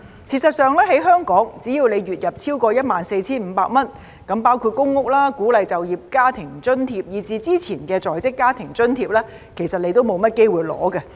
事實上，在香港，只要你月入超過 14,500 元，那麼包括公屋、鼓勵就業家庭津貼，以至之前的在職家庭津貼其實你都沒有機會領取。